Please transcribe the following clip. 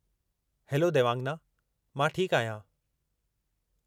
Hello Devangana! मां ठीकु आहियां।